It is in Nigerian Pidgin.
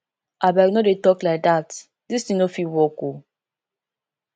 abeg no dey talk like dat dis thing no fit work oo